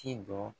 Ci dɔ